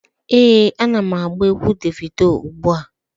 Ee, ana m agba egwu Devido ugbu a.